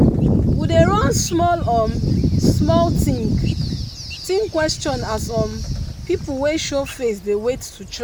we dey run small um small think-think question as um pipu wey show face dey wait to chop.